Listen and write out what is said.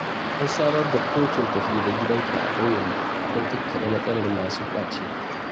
An samar da kotun tafi-da-gidanka a ƙauyenmu dan kakkaɓe matsalar masu ƙwace.